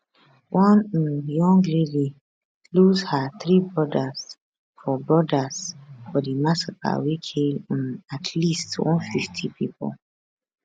one um young lady lose her three brodas for brodas for di massacre wey kill um at least 150 pipo